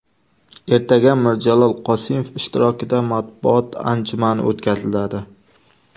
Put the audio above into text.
Ertaga Mirjalol Qosimov ishtirokida matbuot anjumani o‘tkaziladi.